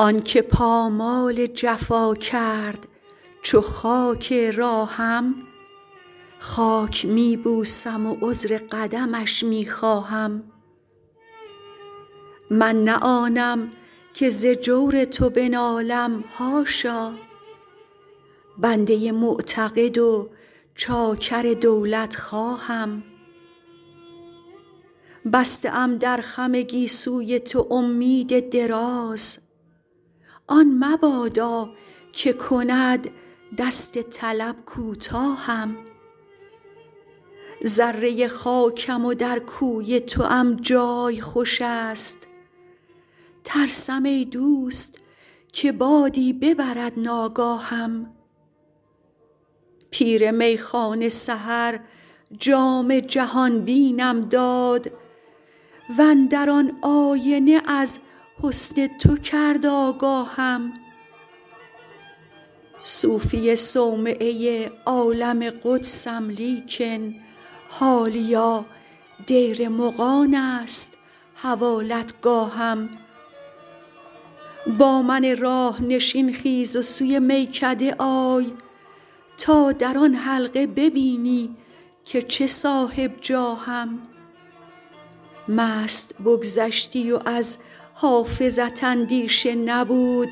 آن که پامال جفا کرد چو خاک راهم خاک می بوسم و عذر قدمش می خواهم من نه آنم که ز جور تو بنالم حاشا بنده معتقد و چاکر دولتخواهم بسته ام در خم گیسوی تو امید دراز آن مبادا که کند دست طلب کوتاهم ذره خاکم و در کوی توام جای خوش است ترسم ای دوست که بادی ببرد ناگاهم پیر میخانه سحر جام جهان بینم داد و اندر آن آینه از حسن تو کرد آگاهم صوفی صومعه عالم قدسم لیکن حالیا دیر مغان است حوالتگاهم با من راه نشین خیز و سوی میکده آی تا در آن حلقه ببینی که چه صاحب جاهم مست بگذشتی و از حافظت اندیشه نبود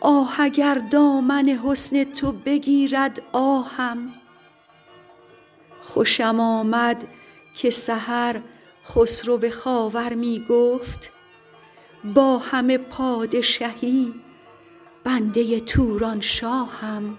آه اگر دامن حسن تو بگیرد آهم خوشم آمد که سحر خسرو خاور می گفت با همه پادشهی بنده تورانشاهم